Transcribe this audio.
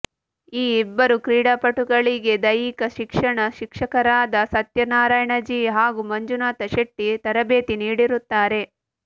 ಈ ಇಬ್ಬರು ಕ್ರೀಡಾಪಟುಗಳಿಗೆ ದೈಹಿಕ ಶಿಕ್ಷಣ ಶಿಕ್ಷಕರಾದ ಸತ್ಯನಾರಾಯಣ ಜಿ ಹಾಗೂ ಮಂಜುನಾಥ ಶೆಟ್ಟಿ ತರಬೇತಿ ನೀಡಿರುತ್ತಾರೆ